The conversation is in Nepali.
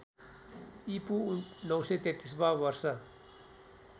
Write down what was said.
ईपू ९३३ वा वर्ष